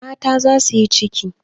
Mata za su yi ciki.